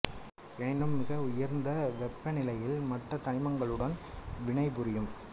எனினும் மிக உயர்ந்த வெப்பநிலையில் மற்றத் தனிமங்களுடன் வினை புரியும்